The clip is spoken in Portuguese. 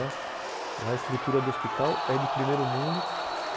A estrutura do hospital é de primeiro mundo.